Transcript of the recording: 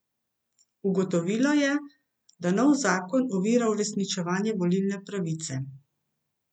Ugotovilo je, da nov zakon ovira uresničevanje volilne pravice.